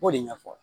K'o de ɲɛfɔ